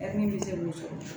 bɛ se k'u sɔrɔ